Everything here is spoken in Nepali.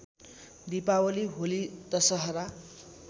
दीपावली होली दशहरा